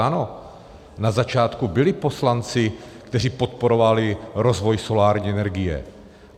Ano, na začátku byli poslanci, kteří podporovali rozvoj solární energie.